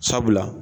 Sabula